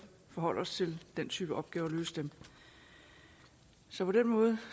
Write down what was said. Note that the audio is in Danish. forholde os til den type opgaver og løse dem så på den måde